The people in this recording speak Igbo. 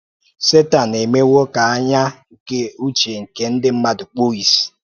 Sétan emewo ka ányà nke uche nke ndị mmadụ kpụọ ìsì.